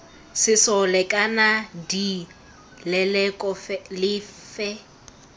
sesole kana d leloko lefe